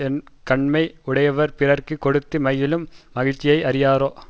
வன் கண்மை உடையவர் பிறர்க்கு கொடுத்து மகிழும் மகிழ்ச்சியை அறியாரோ